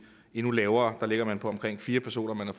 endnu lavere der ligger man på omkring fire personer man har